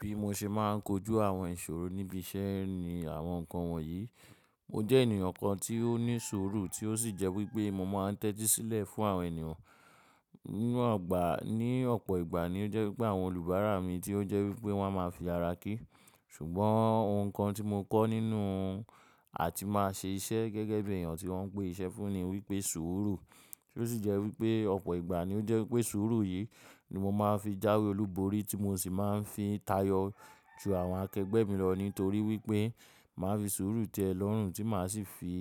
Bí mo ṣe máa ń kojú àwọn ìṣòro níbi iṣẹ́ ni àwọn nǹkan wọ̀nyí. Mo jẹ́ ènìyàn kan tí ó ní sùúrù tí ó sì jẹ́ wípé mo máa ń tẹ́tí sílẹ̀ fún àwọn ènìyàn. Nínú ọgbà, ní ọ̀pọ̀ ìgbà ni ó jẹ́ wípé àwọn oníbàárà mi tí ó jẹ́ wípé wọ́n máa fi ara kí. Ṣùgbọ́n ohun kan tí mo kọ́ nínú àti máa ṣe iṣẹ́ gẹ́gẹ́ bí èèyàn tí wọ́n ń pè iṣẹ́ fún ni wípé sùúrù. Ti ó sì jẹ́ wípé ọ̀pọ̀ ìgbà ni ó jẹ́ wípé sùúrù yìí ni mo máa fi jáwé olúborí tí mo sì máa ń fi tayọ ju àwọn akẹgbẹ́ mi lọ nítorí wípé màá fi sùúrù tẹ́ ẹ lọ́rùn tí màá sì fi